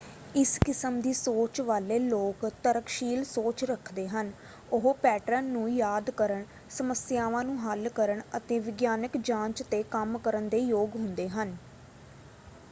ਇਸ ਕਿਸਮ ਦੀ ਸੋਚ ਵਾਲੇ ਲੋਕ ਤਰਕਸ਼ੀਲ ਸੋਚ ਰੱਖਦੇ ਹਨ ਉਹ ਪੈਟਰਨ ਨੂੰ ਯਾਦ ਕਰਨ ਸਮੱਸਿਆਵਾਂ ਨੂੰ ਹੱਲ ਕਰਨ ਅਤੇ ਵਿਗਿਆਨਕ ਜਾਂਚ 'ਤੇ ਕੰਮ ਕਰਨ ਦੇ ਯੋਗ ਹੁੰਦੇ ਹਨ।